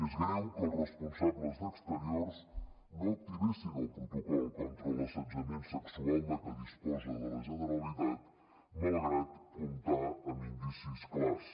és greu que els responsables d’exterior no activessin el protocol contra l’assetjament sexual de què disposa la generalitat malgrat comptar amb indicis clars